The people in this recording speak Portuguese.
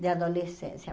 de adolescência.